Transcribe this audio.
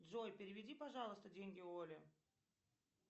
джой переведи пожалуйста деньги оле